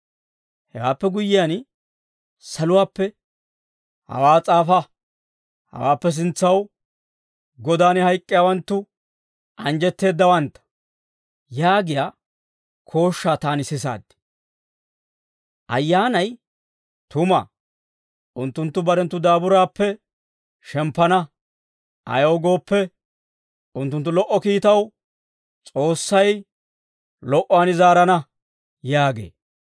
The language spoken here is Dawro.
Hewaappe guyyiyaan saluwaappe, «Hawaa s'aafa; hawaappe sintsaw Godan hayk'k'iyaawanttu anjjetteeddawantta» yaagiyaa kooshshaa taani sisaad. Ayyaanay, «Tuma; unttunttu barenttu daaburaappe shemppana; ayaw gooppe, unttunttu lo"o kiittaw, S'oossay lo"uwaan zaarana» yaagee.